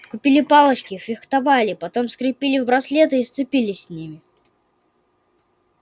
купили палочки фехтовали потом скрепили в браслеты и сцепились с ними